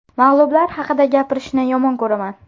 Mag‘lublar haqida gapirishni yomon ko‘raman.